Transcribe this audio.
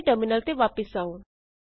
ਆਪਣੇ ਟਰਮਿਨਲ ਤੇ ਵਾਪਸ ਆਉ